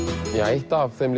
eitt af þeim